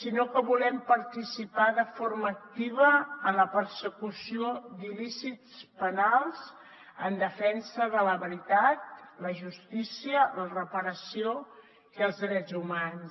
sinó que volem participar de forma activa en la persecució d’il·lícits penals en defensa de la veritat la justícia la reparació i els drets humans